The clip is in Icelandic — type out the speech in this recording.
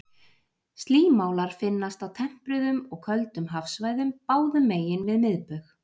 Slímálar finnast á tempruðum og köldum hafsvæðum báðum megin við miðbaug.